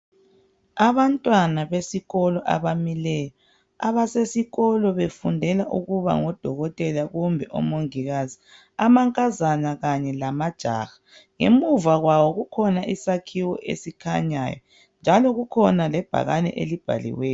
Abantwana abasesikolo abamileyo, abasesikolo befundela ukuba ngodokotela kumbe omongikazi, amankazana kanye lamajaha. Ngemuva kwawo kukhona isakhiwo esikhanyayo njalo kukhona lebhakane elibhaliweyo.